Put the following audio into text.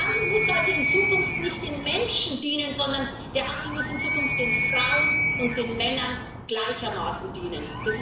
Der Handel muss also in Zukunft nicht den Menschen dienen, sondern der Handel muss in Zukunft den Frauen und den Männern gleichermaßen dienen.